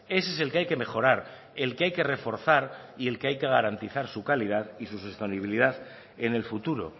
ese es el que hay que mejorar el que hay que reforzar y el que hay que garantizar su calidad y su disponibilidad en el futuro